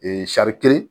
kelen